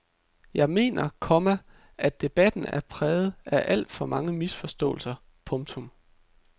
Jeg mener, komma at debatten er præget af alt for mange misforståelser. punktum